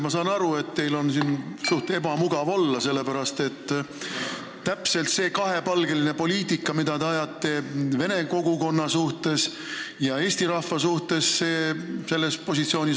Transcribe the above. Ma saan aru, et teil on suhteliselt ebamugav olla, sellepärast et te esindate ka siin seda positsiooni, mille järgi te ajate kahepalgelist poliitikat vene kogukonna ja eesti rahva suhtes.